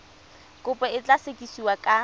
kopo e tla sekasekiwa ka